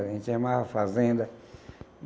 A gente chamava fazenda.